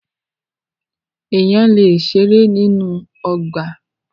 Èèyàn lè ṣeré nínú ọgbà.